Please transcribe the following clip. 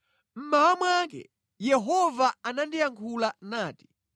Mmawa mwake Yehova anandiyankhula nati: